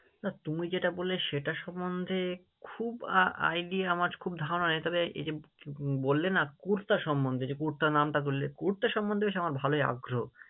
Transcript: না তুমি যেটা বললে সেটার সম্মন্ধে খুব আহ Idea আমার খুব ধারণা নেই, তবে এই যে বললে না কুর্তা সম্মন্ধে যে কুর্তা নামটা করলে, কুর্তা সম্মন্ধে বেশ আমার ভালোই আগ্রহ।